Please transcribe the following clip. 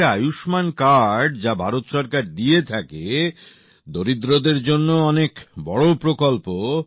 এই যে আয়ুষ্মান কার্ড যা ভারত সরকার দিয়ে থাকে দরিদ্রদের জন্য অনেক বড় প্রকল্প